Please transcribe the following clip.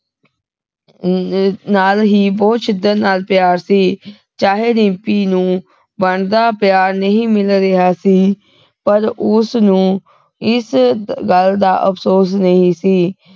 ਨਾਲ ਹੀ ਬਹੁਤ ਸ਼ਿੱਦਤ ਨਾਲ ਪਿਆਰ ਸੀ ਚਾਹੇ ਰਿੰਪੀ ਨੂੰ ਮਨ ਦਾ ਪਿਆਰ ਨਹੀਂ ਮਿਲ ਰਿਹਾ ਸੀ ਪਰ ਉਸ ਨੂੰ ਇਸ ਗੱਲ ਦਾ ਅਫਸੋਸ ਨਹੀਂ ਸੀ